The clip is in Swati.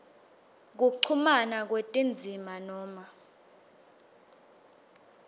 kuchumana kwetindzima noma